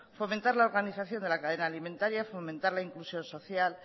fomentar la organización de la cadena alimentaria fomentar la inclusión social